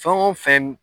Fɛn o fɛn